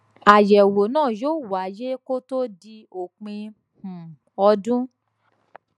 àyèwò náà yóò wáyé kó tó di òpin um ọdún